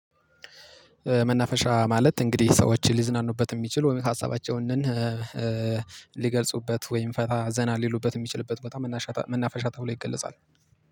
መናፈሻ ማለት እንግዲህ ሰዎች ሊዝናኑበት የሚችሉ ወይም ሀሳባቸውን ሊገልጹበት ወይም ፈታ ዘና ሊሉበት የሚችሉበት ቦታ መናፈሻ ተብሎ ይገለጻል